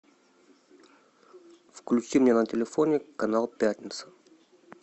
включи мне на телефоне канал пятница